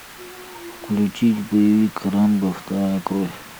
включить боевик рэмбо вторая кровь